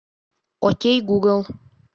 окей гугл